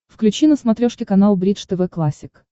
включи на смотрешке канал бридж тв классик